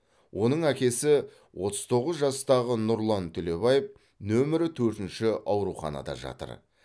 оның әкесі отыз тоғыз жастағы нұрлан төлебаев нөмірі төртінші ауруханада жатыр